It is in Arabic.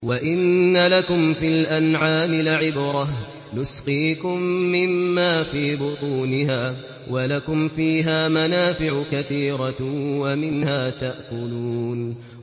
وَإِنَّ لَكُمْ فِي الْأَنْعَامِ لَعِبْرَةً ۖ نُّسْقِيكُم مِّمَّا فِي بُطُونِهَا وَلَكُمْ فِيهَا مَنَافِعُ كَثِيرَةٌ وَمِنْهَا تَأْكُلُونَ